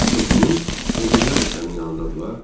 Çoxunuz o birilər də sənin yanındadırlar?